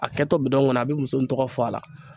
A kɛtɔ bidɔn kɔnɔ a bɛ muso in tɔgɔ fɔ a la